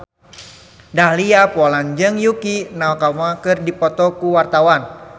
Dahlia Poland jeung Yukie Nakama keur dipoto ku wartawan